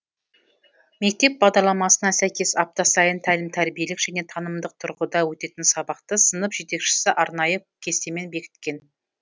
мектеп бағдарламасына сәйкес апта сайын тәлім тәрбиелік және танымдық тұрғыда өтетін сабақты сынып жетекшісі арнайы кестемен бекіткен